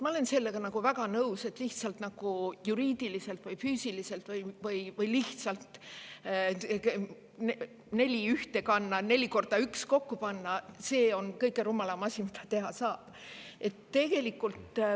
Ma olen sellega väga nõus, et lihtsalt juriidiliselt või füüsiliselt neli ühtekokku panna on kõige rumalam asi, mida teha saab.